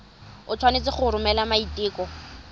o tshwanetse go romela maiteko